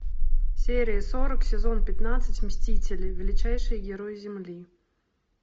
серия сорок сезон пятнадцать мстители величайшие герои земли